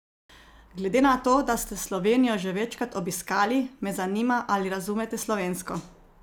Glede na to, da ste Slovenijo že večkrat obiskali, me zanima, ali razumete slovensko?